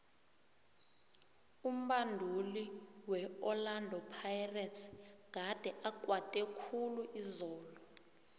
umbanduli weorlando pirates gade akwate khulu izolo